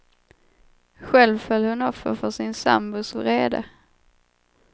Själv föll hon offer för sin sambos vrede.